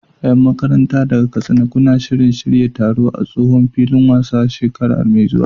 Yan makaranta daga Katsina, kuna shirin shirya taro a tsohon filin wasan shekara mai zuwa?